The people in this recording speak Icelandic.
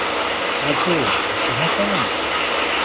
Arnþrúður, viltu hoppa með mér?